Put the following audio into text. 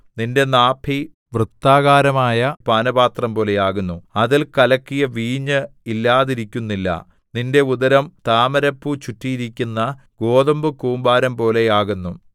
നിന്റെ നാഭി വൃത്താകാരമായ പാനപാത്രം പോലെയാകുന്നു അതിൽ കലക്കിയ വീഞ്ഞ് ഇല്ലാതിരിക്കുന്നില്ല നിന്റെ ഉദരം താമരപ്പൂ ചുറ്റിയിരിക്കുന്ന ഗോതമ്പുകൂമ്പാരംപോലെ ആകുന്നു